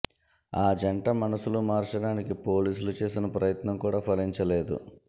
ఆ జంట మనసులు మార్చడానికి పోలీసులు చేసిన ప్రయత్నం కూడా ఫలించలేదు